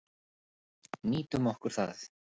Nýtum okkur það.